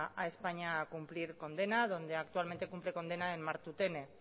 a españa a cumplir condena donde actualmente cumple condena en martutene